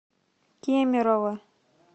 кемерово